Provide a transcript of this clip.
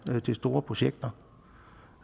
til store projekter